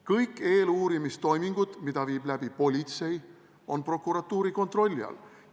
Kõik eeluurimistoimingud, mida viib läbi politsei, on prokuratuuri kontrolli all.